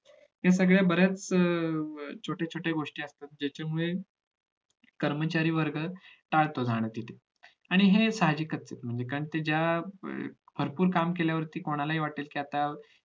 त्या सगळ्या बऱ्याच छोट्या छोट्या गोष्टी असतात त्याच्यामुळे कर्मचारी वर्ग टाळतो जाण्यासाठी आणि हे साहजिक आहे म्हणजे कारण कि ज्या भरपूर काम केल्यावरती कोणालाही वाटत कि आता